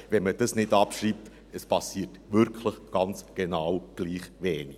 Wenn man nicht abschreibt, passiert wirklich ganz genau gleich wenig.